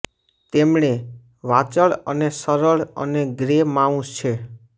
તેમણે વાચાળ અને સરળ અને ગ્રે માઉસ છે